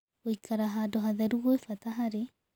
Gũĩkara handũ hatherũ gwĩ bata harĩ